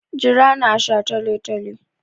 Jira ni a shataletale!